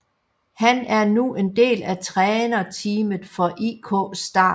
Han er nu en del af trænerteamet for IK Start